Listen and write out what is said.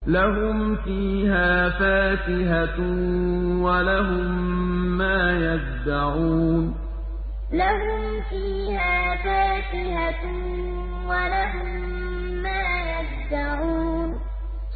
لَهُمْ فِيهَا فَاكِهَةٌ وَلَهُم مَّا يَدَّعُونَ لَهُمْ فِيهَا فَاكِهَةٌ وَلَهُم مَّا يَدَّعُونَ